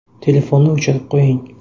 Telefonni o‘chirib qo‘ying.